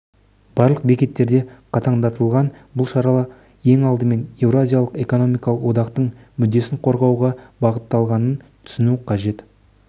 барлық бекеттерде қатаңдатылған бұл шара ең алдымен еуразиялық экономикалық одақтың мүддесін қорғауға бағытталғанын түсіну қажет